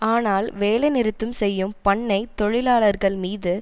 ஆனால் வேலை நிறுத்தும் செய்யும் பண்ணை தொழிலாளர்கள் மீது